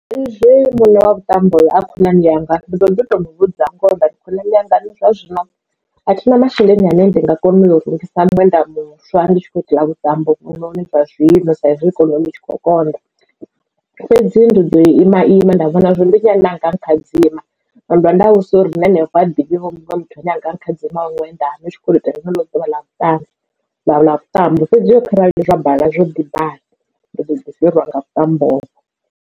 Sa izwi muṋe wa vhuṱambo a khonani yanga ndi ḓoḓi to muvhudza ngoho ndari khonani yanga nṋe zwa zwino athi na masheleni ane ndi nga kona u rungisa miṅwenda muswa ndi tshi khou itela vhuṱambo uvhu noni zwa zwino sa izwi ikonomi itshi kho konḓa fhedzi ndi ḓo ima ima nda vhona zwori ndi nnyi ane anga nkhadzima nda vhudzisa uri na hanefho ahuna vho muṅwe muthu ane anga nkhadzimiwa ṅwenda na u tshi khoto itela ḽeneḽo ḓuvha ḽa vhuṱanzi ḽa vhutambo fhedzi kharali zwa bala zwo ḓi bala ndi ḓo ḓi fhirwa nga mutambo uho.